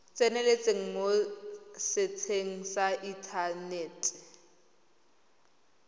tseneletseng mo setsheng sa inthanete